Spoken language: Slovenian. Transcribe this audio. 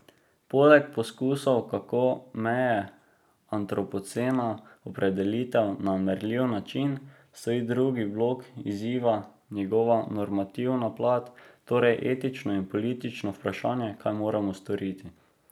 Poleg poskusov, kako meje antropocena opredeliti na merljiv način, stoji drugi blok izziva, njegova normativna plat, torej etično in politično vprašanje, kaj moramo storiti.